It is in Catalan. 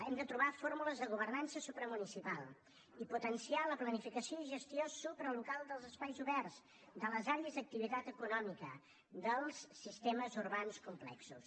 hem de trobar fórmules de governança supramunicipal i potenciar la planificació i gestió supralocal dels espais oberts de les àrees d’activitat econòmica dels sistemes urbans complexos